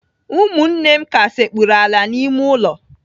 Ụmụnne m ka sekpuru ala n'ime ulo